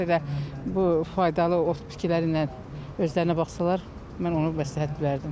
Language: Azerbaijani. Ondan sonra bu faydalı ot bitkiləri ilə özlərinə baxsanlar, mən onu məsləhət verdim.